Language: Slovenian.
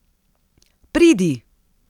Pridi!